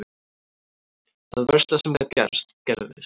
Það versta sem gat gerst gerðist.